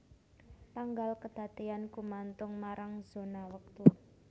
Tanggal kedadéyan gumantung marang zona wektu